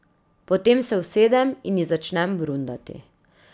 Potem se usedem in ji začnem brundati.